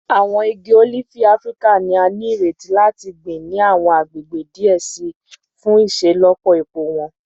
Awọn igi olifi Afirika ni a nireti lati gbin ni awọn agbegbe diẹ sii fun iṣelọpọ epo wọn